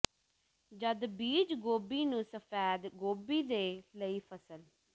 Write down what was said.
ਜਦ ਬੀਜ ਗੋਭੀ ਨੂੰ ਸਫੈਦ ਗੋਭੀ ਦੇ ਲਈ ਫਸਲ